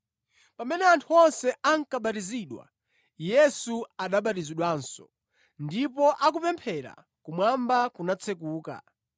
Pamene anthu onse ankabatizidwa, Yesu anabatizidwanso. Ndipo akupemphera, kumwamba kunatsekuka.